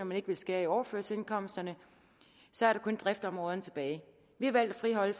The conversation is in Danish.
man ikke vil skære i overførselsindkomsterne så er der kun driftsområderne tilbage vi har valgt at friholde